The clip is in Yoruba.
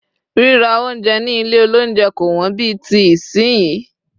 rírà ounjẹ ni ilé olounje ko won bí ti sinyi